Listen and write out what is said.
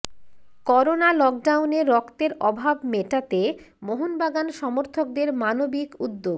corona লকডাউনে রক্তের অভাব মোটাতে মোহনবাগান সমর্থকদের মানবিক উদ্যোগ